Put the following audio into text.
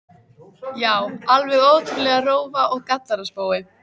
Já, alveg ótrúleg rófa og grallaraspói.